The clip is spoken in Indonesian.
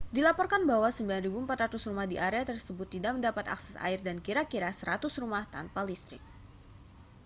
dilaporkan bahwa 9.400 rumah di area tersebut tidak mendapat akses air dan kira-kira 100 rumah tanpa listrik